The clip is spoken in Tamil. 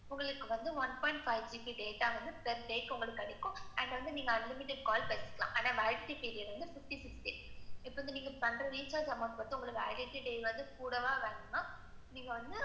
உங்களுக்கு one point five GB data வந்து, per day உங்களுக்கு இருக்கும். ஆனா, நீங்க unlimited call பண்ணிக்கலாம். ஆனா validity period fifty, fifty. நீங்க பண்ற recharge amount, validity period கூடவா, வேண்டாமா, நீங்க வந்து,